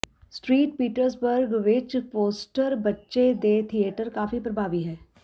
street Petersburg ਵਿੱਚ poster ਬੱਚੇ ਦੇ ਥੀਏਟਰ ਕਾਫ਼ੀ ਪਰਭਾਵੀ ਹੈ